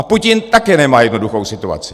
A Putin také nemá jednoduchou situaci.